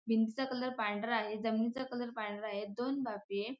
भिंतीचा कलर पांढरा आहे जमिनीचा कलर पांढरा आहे दोन बापे--